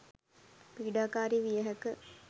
පිඩාකාරි විය හැක.